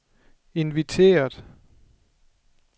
inviteret